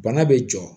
Bana be jɔ